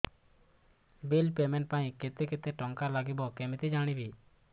bill payment ପାଇଁ କେତେ କେତେ ଟଙ୍କା ଲାଗିବ କେମିତି ଜାଣିବି